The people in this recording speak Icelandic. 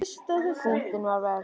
Púttin voru verst.